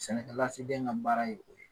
Sɛnɛkɛlasigiden ka baara ye o ye